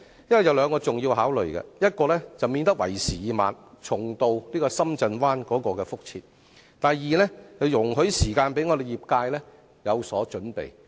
這牽涉兩項重要考慮，一是免得為時已晚，重蹈深圳灣的覆轍；二是讓業界有時間作好準備。